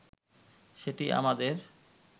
সেটি আমাদের